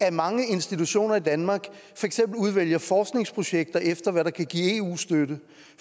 at mange institutioner i danmark for eksempel udvælger forskningsprojekter efter hvad der kan give eu støtte